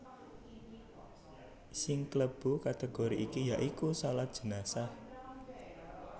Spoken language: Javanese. Sing klebu kategori iki ya iku shalat jenazah